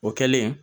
O kɛlen